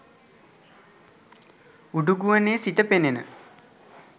උඩුගුවනේ සිට පෙනෙන